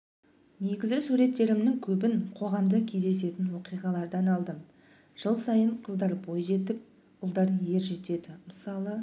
негізі суреттерімнің көбін қоғамда кездесетін оқиғалардан алдым жыл сайын қыздар бой жетіп ұлдар ер жетеді мысалы